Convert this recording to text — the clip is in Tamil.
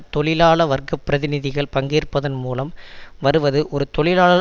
தொழிலாள வர்க்க பிரதிநிதிகள் பங்கேற்பதன் மூலம் வருவது ஒரு தொழிலாளர்